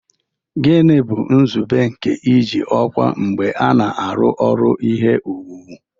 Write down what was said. Gịnị bụ nzube nke iji ọkwa mgbe a na-arụ ọrụ ihe owuwu